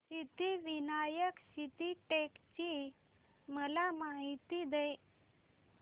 सिद्धिविनायक सिद्धटेक ची मला माहिती दे